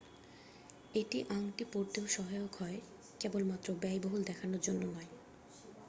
এটি আংটি পরতেও সহায়ক হয় কেবলমাত্র ব্যয়বহুল দেখানোর জন্য নয়।